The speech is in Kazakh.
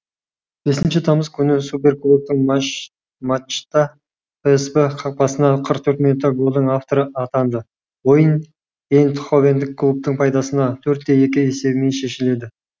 бесінші тамыз күні суперкубоктық матчта псв қақпасына қырық төрт минутта голдың авторы атанды ойын эйндховендік клубтың пайдасына төрт те екі есебімен шешіледі